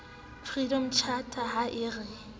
freedom charter ha e re